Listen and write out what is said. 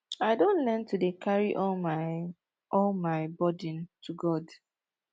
i don learn to dey carry all my all my burden to god